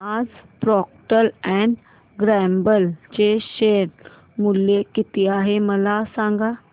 आज Procter and Gamble चे share मूल्य किती आहे मला सांगा